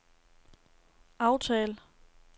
aftal